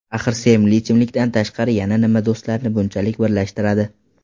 Axir sevimli ichimlikdan tashqari yana nima do‘stlarni bunchalik birlashtiradi?